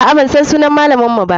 Aa, bansan sunan malaman mu ba.